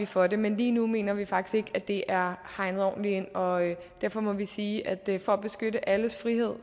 for det men lige nu mener vi faktisk at det er hegnet ordentlig ind og derfor må vi sige at vi for at beskytte alles frihed